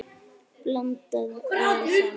Blandað vel saman.